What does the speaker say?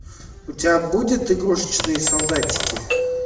у тебя будет игрушечные солдатики